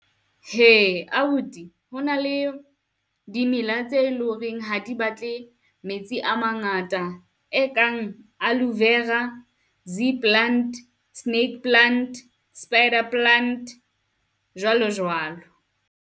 Hee abuti ho na le dimela tse loreng ha di batle metsi a mangata e kang aloe vera, sea plant, snake plant, spider plant, jwalo jwalo.